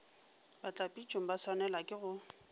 batlapitšong ba swanelwago ke go